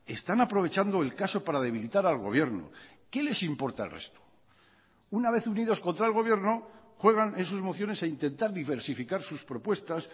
están aprovechando el caso para debilitar al gobierno qué les importa el resto una vez unidos contra el gobierno juegan en sus mociones a intentar diversificar sus propuestas